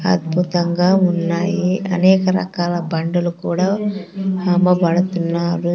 అద్భుతంగా ఉన్నాయి అనేక రకాల బండలు కూడా అమ్మబడుతున్నారు.